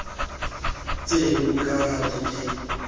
tseno ka ha di ke